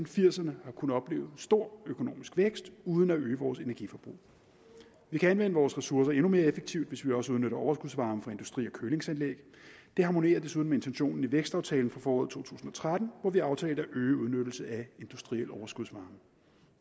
firserne har kunnet opleve en stor økonomisk vækst uden at øge vores energiforbrug vi kan anvende vores ressourcer endnu mere effektivt hvis vi også udnytter overskudsvarme fra industri og kølingsanlæg det harmonerer desuden med intentionen i vækstaftalen fra foråret to tusind og tretten hvor vi aftalte at øge udnyttelsen af industriel overskudsvarme